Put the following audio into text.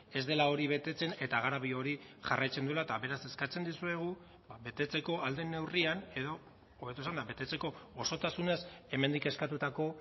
ez dela hori betetzen eta garabi hori jarraitzen duela eta beraz eskatzen dizuegu betetzeko ahal den neurrian edo hobeto esanda betetzeko osotasunez hemendik eskatutako